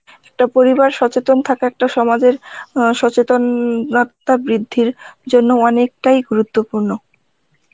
একটা পরিবার সচেতন থাকা একটা সমাজ এ অ্যাঁ সচেতনতা বৃদ্ধির জন্য অনেকটাই গুরুত্ব পূর্ণ